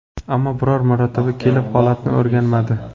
Ammo biror marotaba kelib holatni o‘rganmadi.